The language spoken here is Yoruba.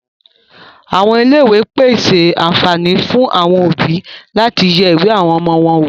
Àwọn Ilé ìwé pèse àǹfààní fún àwọn òbí láti yẹ ìwé àwọn ọmọ wọn wò.